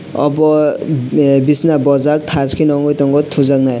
obo bishna bojak thash kheno ungui tongo thujaknai.